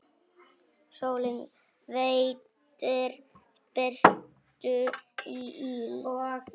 Sólin veitir birtu og yl.